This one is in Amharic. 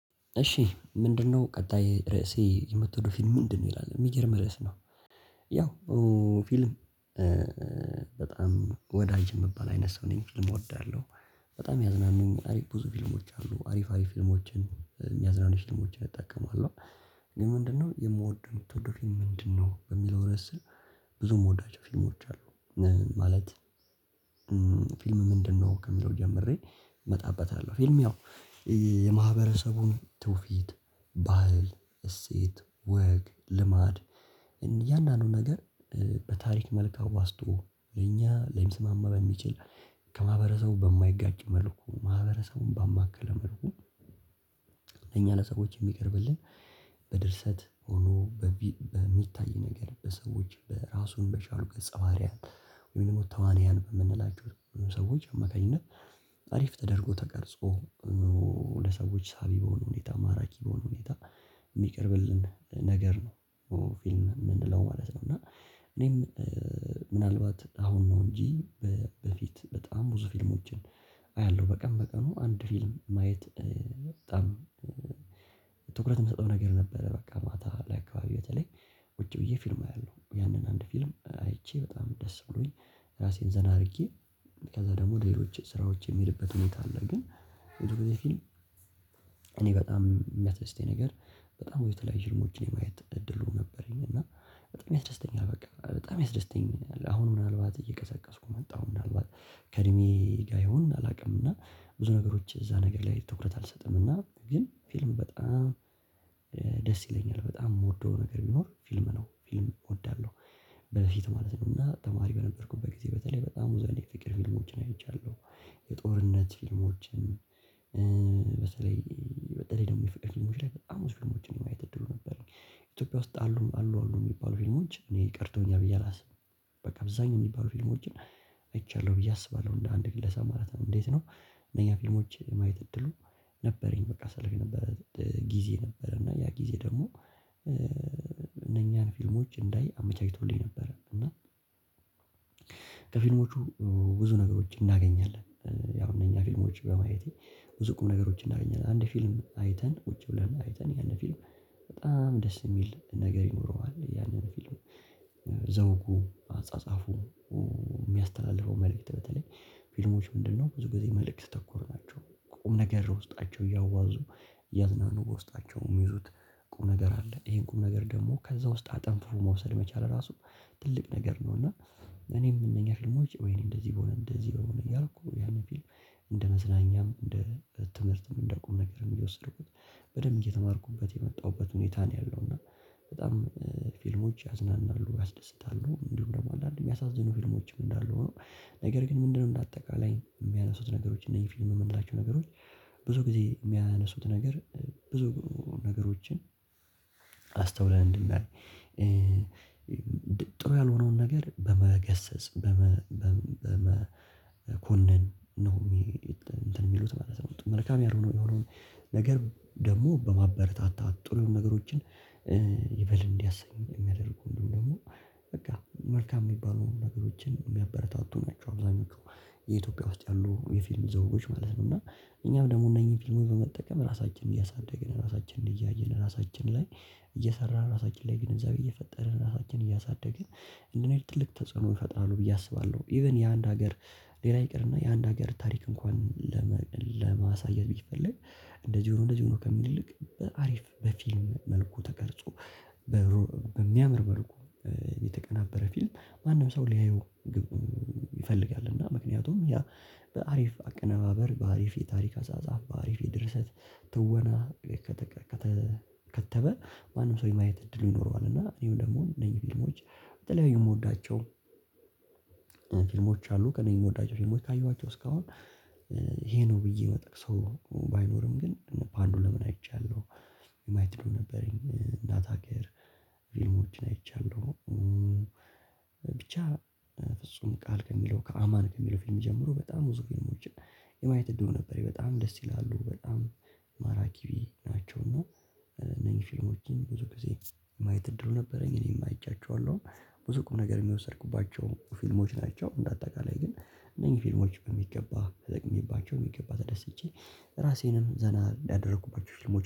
እሺ ምንድነው ቀጣይ ርዕሴ የምትወደው ፊልም ምንድነው? ይላል የሚገርም ርዕስ ነው። ያው ፊልም። በጣም ወዳጅ የምባል አይነት ሰው ነኝ። ፊልም እወዳለሁ። በጣም ያዝናኑኛል አሪፍ ብዙ ፊልሞች አሉ አሪፍ አሪፍ ፊልሞችን የሚያዝናኑ ፊልሞችን እጠቀማለሁ። ግን ምንድነው የምወደው የምትወደው ፊልም ምንድነው? በሚለው ረእስ ስር። ብዙ ምወዳቸው ፊልሞች አሉ። ማለት ፊልም ምንድነው? ከሚለው ጀምሬ እመጣበታለሁ። ፊልም ያው የማህበረሰቡን ትውፊት ባህል እሴት ወግ ልማድ። እያንዳንዱን ነገር። በታሪክ መልክ አዋዝቶ የኛ ለሚስማማ በሚችል። ከማህበረሰቡ በማይጋጭ መልኩ ማህበረሰቡን ባማከለ መልኩ። ለሰዎች የሚቀርብልን። በድርሰት ሆኖ በሚታይ ነገር በሰዎች በራሱን በቻሉ ገጸ ባህሪያት። ወይም ደግሞ ተዋንያን የምንላቸው ሰዎች አማካኝነት። አሪፍ ተደርጎ ተቀርጾ። ለሰዎች ሳቢ በሆኑ ሁኔታ ማራኪ በሆኑ ሁኔታ። የሚቀርብልን ነገር ነው ፍልም ምንለው ማለት ነው። እና። እኔም ምናልባት አሁን ነው እንጂ በፊት በጣም ብዙ ፊልሞችን። አያለሁ በቀን በቀኑ አንድ ፊልም ማየት በጣም ትኩረት የምሰጠው ነገር ነበረ። በቃ ማታ ላይ አካባቢ በተለይ ቁጭ ብዬ ፊልም አያለሁ። ያንን አንድ ፊልም አይቼ በጣም ደስ ብሎኝ ራሴን ዘና አድርጌ። ከዛ ደግሞ ሌሎች ስራዎች የምሄድበት ሁኔታ አለ። ግን እኔ ብዙ ጊዜ ፊልም በጣም የሚያስደስተኝ ነገር። በጣም ብዙ የተለያዩ ህልሞችን የማየት እድሉ ነበረኝ። እና በጣም ያስደስተኛል በቃ በጣም ያስደስተኛል። አሁን ምናልባት እየቀዘቀዝኩ መጣሁ ምናልባት ከእድሜ ጋር ይሁን አላውቅም። እና ብዙ ነገሮች እዛ ነገር ላይ ትኩረት አልሰጥም። እና ግን ፊልም በጣም። ደስ ይለኛል በጣም የምወደው ነገር ቢኖር ፊልም ነው። ፊልም እወዳለሁ። በፊት ማለት ነወና ተማሪ በነበርኩበት ጊዜ በተለይ በጣም ብዙ አይነት የፍቅር ፊልሞችን አይቻለሁ። የጦርነት ፊልሞችን። በተለይ በተለይ ደግሞ የፍቅር ፊልሞች ላይ በጣም ብዙ ፊልሞችን የማየት እድሉ ነበረኝ። ኢትዮጵያ ውስጥ አሉ አሉ አሉ የሚባሉ ፊልሞች እኔ ቀርተውኛል ብዬ አላስብም። በቃ አብዛኛው የሚባሉ ፊልሞችን አይቻለሁ ብዬ አስባለሁ። እንደ አንድ ግለሰብ ማለት ነው። እንዴት ነው? እነኛ ፊልሞች የማየት እድሉ ነበረኝ። በቃ ሰለፍ የነበረ ጊዜ ነበረ እና ያ ጊዜ ደግሞ። እነኛን ፊልሞች እንዳይ አመቻችቶልኝ ነበረ እና። ከፊልሞቹ ብዙ ነገሮች እናገኛለን። ያው እንኛ ፊልሞች በማየቴ ብዙ ቁምነገሮች እናገኛለን። አንድ ፊልም አይተን ቁጭ ብለን አይተን ያንን ፊልም በጣም ደስ የሚል ነገር ይኖረዋል። ያንን ፊልም። ዘውጉ አጻጻፉ የሚያስተላልፈው መልእክት በተለይ ፊልሞች ምንድነው ብዙ ጊዜ መልእክት ተኮር ናቸው። ቁም ነገር ውስጣቸው እያዋዙ እያዝናኑ በውስጣቸው የሚይዙት ቁም ነገር አለ። ይሄን ቁም ነገር ደግሞ ከዛ ውስጥ አጠንፍፎ መውሰድ መቻል ራሱ ትልቅ ነገር ነው። እና እኔም እነኛ ፊልሞች ወይኔ እንደዚህ በሆነ እንደዚህ በሆነ እያልኩ ያን ፊልም እንደ መዝናኛም እንደ ትምህርትም እንደ ቁም ነገርም እየወሰድኩት በደንብ እየተማርኩበት የመጣሁበት ሁኔታ ነው። ያለው እና በጣም ፊልሞች ያዝናናሉ ያስደስታሉ እንዲሁ ደግሞ አንዳንዴ የሚያሳዝኑ ፊልሞችም እንዳሉ ሆኖ። ነገር ግን ምንድነው እንደ አጠቃላይ የሚያነሱት ነገሮች እነኚህ ፊልም የምንላቸው ነገሮች። ብዙ ጊዜ የሚያነሱት ነገር ብዙ ነገሮችን። አስተውለን እንድናይ። ጥሩ ያልሆነውን ነገር በመገሰጽ በመኮነን ነው። እንትን የሚሉት ማለት ነው። መልካም ያልሆነው የሆነውን ነገር ደግሞ በማበረታታት ጥሩ ነገሮችን። ይበል እንዲያሰኝ የሚያደርጉ እንዲሁምደግሞ በቃ መልካም የሚባሉ ነገሮችን የሚያበረታቱ ናቸው። አብዛኞቹ የኢትዮጵያ ውስጥ ያሉ የፊልም ዘውጎች ማለት ነው። እና እኛም ደግሞ እነኚህን ፊልሞች በመጠቀም ራሳችንን እያሳደገን ራሳችንን እያየን ራሳችን ላይ እየሰራን ራሳችን ላይ ግንዛቤ እየፈጠርን ራሳችንን እያሳደግን። እንደኔ ትልቅ ተጽዕኖ ይፈጥራሉ ብዬ አስባለሁ። ኢቭን የአንድ ሀገር ሌላ ይቅርና የአንድ ሀገር ታሪክ እንኳን ለማሳየት ቢፈለግ እንደዚህ ሆኖ እንደዚህ ሆኖ ከሚል ይልቅ በአሪፍ በፊልም መልኩ ተቀርጾ። በሚያምር መልኩ የተቀናበረ ፊልም ማንም ሰው ሊያየው። ይፈልጋል። እና ምክንያቱም ያ በአሪፍ አቀነባበር በአሪፍ የታሪክ አጻጻፍ በአሪፍ የድርሰት ትወና። ከተበ ማንም ሰው የማየት እድል ይኖረዋል። እና እኔም ደግሞ እነዚህ ፊልሞች በተለያዩ የምወዳቸው ፊልሞች አሉ ከእኔ የምወዳቸው ፊልሞች ካየዋቸው እስካሁን። ይሄ ነው ብዬ ምጠቅሰው ባይኖርም ግን ፓንዱለምን አይቻለሁ። የማየት እድሉ ነበረኝ እናት አገር። ፊልሞችን አይቻለሁ። ብቻ ፍጹም ቃል ከሚለው ከአማን ከሚለው ፊልም ጀምሮ በጣም ብዙ ፊልሞችን። የማየት እድሉ ነበረኝ በጣም ደስ ይላሉ በጣም ማራኪ ናቸው። እና እነኚህ ፊልሞችን ብዙ ጊዜ የማየት እድሉ ነበረኝ። እኔም አይቻቸዋለሁ ብዙ ቁም ነገርም የወሰድኩባቸው ፊልሞች ናቸው። እንደ አጠቃላይ ግን እነኚህ ፊልሞች በሚገባ ተጠቅሜባቸው በሚገባ ተደስቼ። ራሴንም ዘና ያደረኩባቸው ፊልሞች